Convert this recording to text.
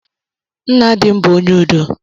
Nna dị m bụ ónyé ụdọ.